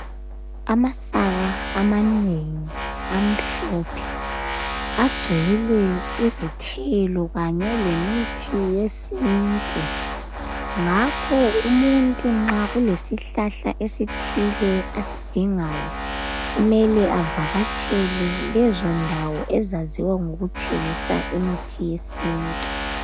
Amasaka amanengi amhlophe, agcwele izithelo kanye lemithi yesintu. Ngakho umuntu nxa kulesihlahla esithile asidingayo, kumele avakatshele lezo ndawo ezaziwa ngokuthengisa imithi yesintu.